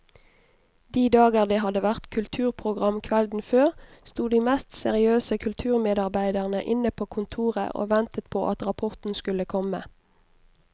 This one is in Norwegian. De dager det hadde vært kulturprogram kvelden før, sto de mest seriøse kulturmedarbeidere inne på kontoret og ventet på at rapporten skulle komme.